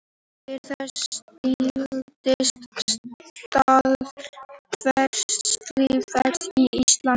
Eftir það styrktist staða verkalýðsfélaga á Íslandi.